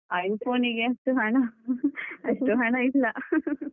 iPhone ಗೆಷ್ಟು ಹಣ ಅಷ್ಟು ಹಣ ಇಲ್ಲ.